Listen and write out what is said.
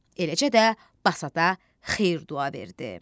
Eləcə də Basata xeyir-dua verdi.